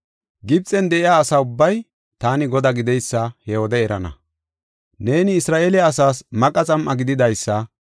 Gibxen de7iya asa ubbay taani Godaa gideysa he wode erana. “Neeni Isra7eele asaas maqa xam7a gidadasa;